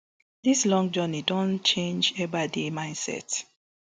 dis long journey don change ebaide mindset